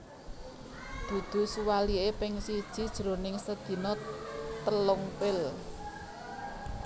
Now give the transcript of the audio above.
Dudu suwaliké ping siji jroning sedina telung pil